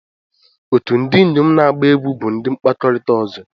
Otu ndị inyom na-agba egwú bụ ụdị mkpakọrịta ọzọ.